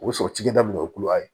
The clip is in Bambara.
O bɛ sɔrɔ cikɛ daminɛ o ye kulo ye